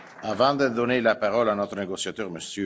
Avant de donner la parole à notre négociateur, M.